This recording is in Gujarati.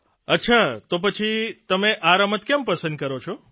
અચ્છા તો પછી તમે આ રમત કેમ પસંદ કરો છો